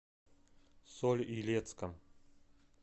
соль илецком